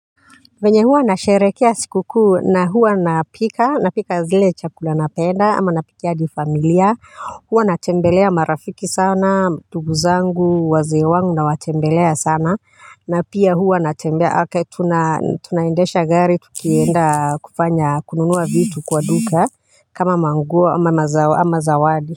Venye huwa nasherekea sikukuu na huwa napika, napika zile chakula napenda ama napikia hadi familia, huwa natembelea marafiki sana, ndungu zangu, wazee wangu nawatembelea sana, na pia huwa natembea, okay tuna tunaendesha gari tukienda kufanya kununua vitu kwa duka, kama manguo ama zawadi.